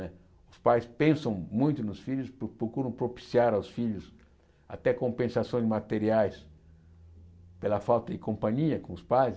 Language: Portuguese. Né os pais pensam muito nos filhos, pro procuram propiciar aos filhos até compensações materiais pela falta de companhia com os pais.